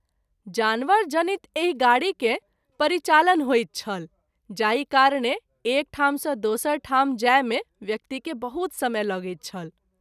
जानवर जनित एहि गाड़ी के परिचालन होइत छल जाहि कारणे एक ठाम सँ दोसर ठाम जाय मे व्यक्ति के बहुत समय लगैत छल।